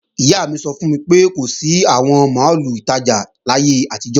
Ìyá mi sọ fún mi pé kò sí àwọn máàlù ìtajà láyé àtijọ́